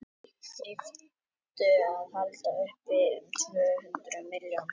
þeir þyrftu að halda uppi um tvö hundruð milljón tonnum